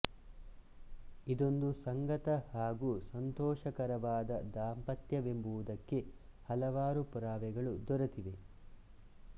ಇದೊಂದು ಸಂಗತ ಹಾಗು ಸಂತೋಷಕರವಾದ ದಾಂಪತ್ಯವೆಂಬುದಕ್ಕೆ ಹಲವಾರು ಪುರಾವೆಗಳು ದೊರೆತಿವೆ